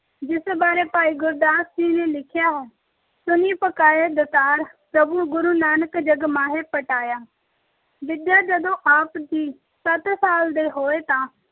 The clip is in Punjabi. ਜਿਸ ਬਾਰੇ ਭਾਈ ਗੁਰਦਾਸ ਜੀ ਨੇ ਲਿਖਿਆ ਹੈ। ਸੁਣੀ ਪੁਕਾਰਿ ਦਾਤਾਰ ਪ੍ਰਭੁ ਗੁਰੂ ਨਾਨਕ ਜਗ ਮਾਹਿ ਪਠਾਇਆ। ਵਿੱਦਿਆ- ਜਦੋਂ ਆਪ ਜੀ ਸੱਤ ਸਾਲ ਦੇ ਹੋਏ ਤਾਂ